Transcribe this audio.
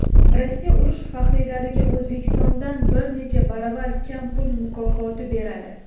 Rossiya urush faxriylariga O‘zbekistondan bir necha baravar kam pul mukofoti beradi.